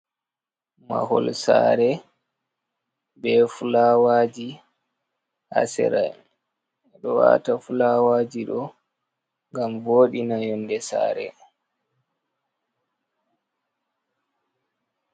Mahol saare bee fulaawaaji ha saare, ɓe ɗo waata fulaawaaji ɗo ngam vooɗina yonnde saare.